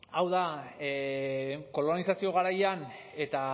hau da kolonizazio garaian eta